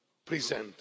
present.